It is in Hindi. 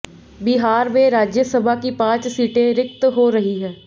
बिहार में राज्यसभा की पांच सीटें रिक्त हो रही हैं